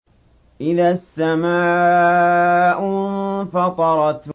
إِذَا السَّمَاءُ انفَطَرَتْ